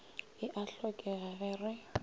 e a hlokega ge re